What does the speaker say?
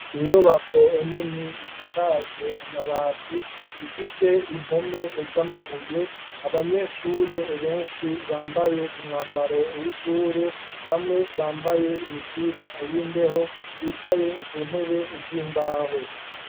Inyubako nini isakajwe amabati ,ifise impome z’amabuye ,abanyeshure benshi bambaye umwambaro w’ishure ,bamwe bambaye imipira y’imbeho ,bicaye kuntebe z’imbaho.